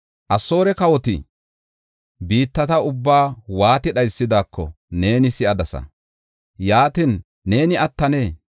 Asoore kawoti biittata ubbaa waati dhaysidaako neeni si7adasa. Yaatin, neeni attanee?